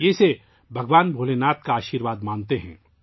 وہ اسے بھگوان بھولے ناتھ کا آشیرواد مانتے ہیں